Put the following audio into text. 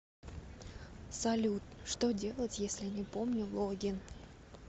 салют что делать если не помню логин